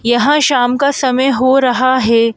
यहां शाम का समय हो रहा है।